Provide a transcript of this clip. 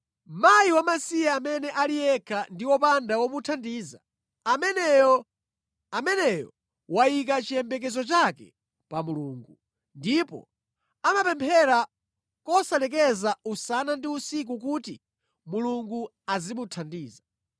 Mkazi wamasiye amene ali yekha ndi wopanda womuthandiza, ameneyo wayika chiyembekezo chake pa Mulungu, ndipo amapemphera kosalekeza usana ndi usiku kuti Mulungu azimuthandiza.